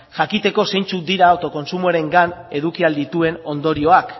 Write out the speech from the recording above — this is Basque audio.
jakiteko zeintzuk dira autokontsumoarengan eduki ahal dituen ondorioak